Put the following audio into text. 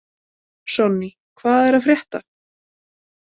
Sonný, hvað er að frétta?